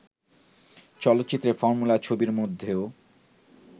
চলচ্চিত্রে, ফর্মুলা ছবির মধ্যেও